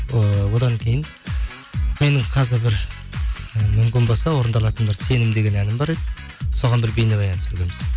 ыыы одан кейін менің қазір бір і мүмкін болса орындалатын бір сенім деген әнім бар еді соған бір бейнебаян түсіргенбіз